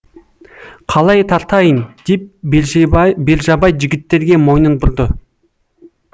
қалай тартайын деп бержабай жігіттерге мойнын бұрды